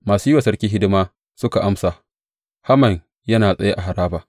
Masu yi wa sarki hidima, suka amsa, Haman yana tsaye a haraba.